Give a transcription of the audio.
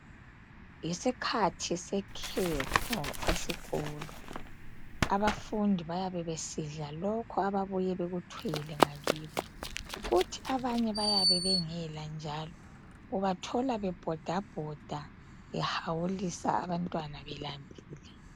Yisikhathi sekhefu esikolo. Abafundi bayabe besidla lokhu ababuye bekuthwele ngakibo kuthi abanye bayabe bengela njalo . Ubathola bebhodabhoda behawulisa abantwana belambile.